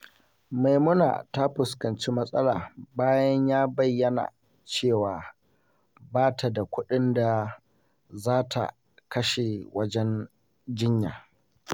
Maimuna ta fuskanci matsala bayan ya bayyana cewa ba ta da kuɗin da za ta kashe wajen jinya.